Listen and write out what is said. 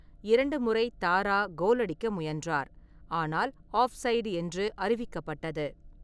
இரண்டு முறை தாரா கோல் அடிக்க முயன்றார், ஆனால் ஆஃப்சைடு என்று அறிவிக்கப்பட்டது.